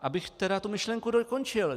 Abych tedy tu myšlenku dokončil.